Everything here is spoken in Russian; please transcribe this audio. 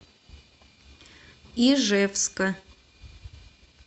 ижевска